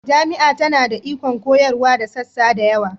Jami'a tana da ikon koyarwa da sassa da yawa